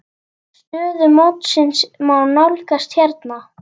Stöðu mótsins má nálgast hérna.